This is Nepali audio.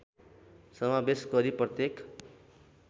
समावेश गरी प्रत्येक